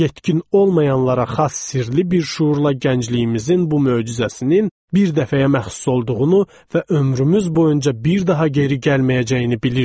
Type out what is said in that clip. Yetkin olmayanlara xas sirli bir şüurla gəncliyimizin bu möcüzəsinin bir dəfəyə məxsus olduğunu və ömrümüz boyunca bir daha geri gəlməyəcəyini bilirdik.